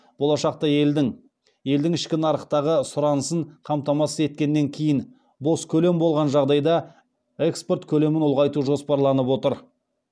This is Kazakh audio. болашақта елдің елдің ішкі нарықтағы сұранысын қамтамасыз еткеннен кейін бос көлем болған жағдайда экспорт көлемін ұлғайту жоспарланып отыр